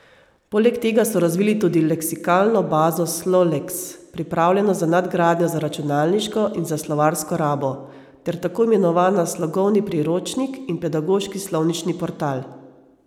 Poleg tega so razvili tudi leksikalno bazo Sloleks, pripravljeno za nadgradnjo za računalniško in za slovarsko rabo, ter tako imenovana Slogovni priročnik in Pedagoški slovnični portal.